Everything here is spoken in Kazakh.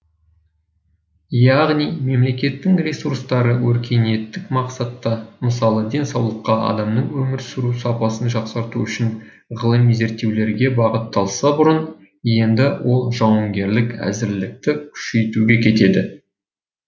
яғни мемлекеттің ресурстары өркениеттік мақсатта мысалы денсаулыққа адамның өмір сүру сапасын жақсарту үшін ғылыми зерттеулерге бағытталса бұрын енді ол жауынгерлік әзірлікті күшейтуге кетеді